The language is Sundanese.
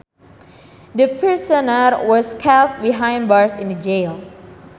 The prisoner was kept behind bars in the jail